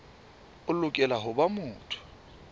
o lokela ho ba motho